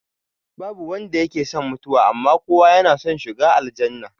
Babu wanda yake son mutuwa, amma kowa yana son shiga aljannah